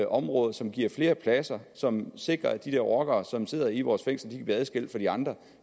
området som giver flere pladser som sikrer at de rockere som sidder i vores fængsler bliver adskilt fra de andre